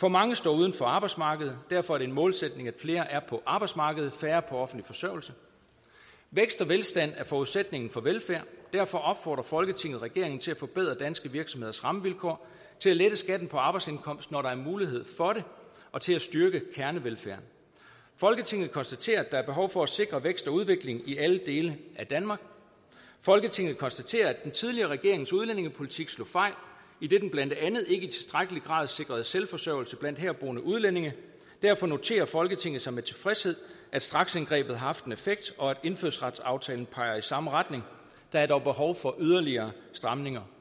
for mange står uden for arbejdsmarkedet derfor er det en målsætning at flere er på arbejdsmarkedet færre på offentlig forsørgelse vækst og velstand er forudsætningen for velfærd derfor opfordrer folketinget regeringen til at forbedre danske virksomheders rammevilkår til at lette skatten på arbejdsindkomst når der er mulighed for det og til at styrke kernevelfærden folketinget konstaterer at der er behov for at sikre vækst og udvikling i alle dele af danmark folketinget konstaterer at den tidligere regerings udlændingepolitik slog fejl idet den blandt andet ikke i tilstrækkelig grad sikrede selvforsørgelse blandt herboende udlændinge derfor noterer folketinget sig med tilfredshed at straksindgrebet har haft en effekt og at indfødsretsaftalen peger i samme retning der er dog behov for yderligere stramninger